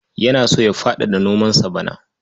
Yana so ya faɗaɗa nomansa bana.